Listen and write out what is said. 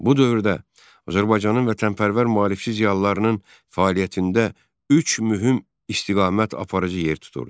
Bu dövrdə Azərbaycanın vətənpərvər maarifçi ziyalılarının fəaliyyətində üç mühüm istiqamət aparıcı yer tuturdu.